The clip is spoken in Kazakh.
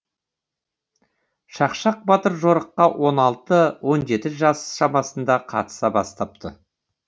шақшақ батыр жорыққа он алты он жеті жас шамасында қатыса бастапты